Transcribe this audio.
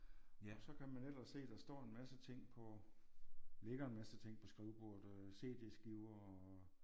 Og så kan man ellers se der står en masse ting på ligger en masse ting på skrivebordet øh CD-skiver og